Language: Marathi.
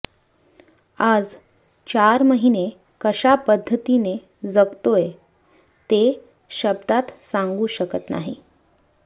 आज चार महिने कशा पद्दतीने जगतोय ते शब्दांत सांगू शकत नाही